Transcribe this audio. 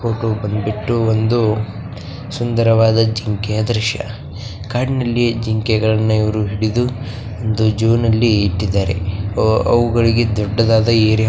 ಈ ಫೋಟೋ ಬಂದ್ಬಿಟ್ಟು ಒಂದು ಸುಂದರವಾದ ಜಿಂಕೆಯ ದೃಶ್ಯ ಕಾಡಿನಲ್ಲಿ ಜಿಂಕೆಯನ್ನು ಇವರು ಹಿಡಿದು ಒಂದು ಝು ನಲ್ಲಿ ಇಟ್ಟಿದ್ದಾರೆ ಅವುಗಳಿಗೆ ದೊಡ್ಡದಾದ ಏರಿಯಾ .